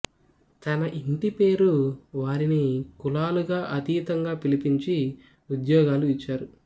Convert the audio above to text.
తన ఇంటి పేరు వారిని కులాలకు అతీతంగా పిలిపించి ఉద్యోగాలు ఇచ్చారు